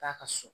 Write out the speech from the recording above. K'a ka so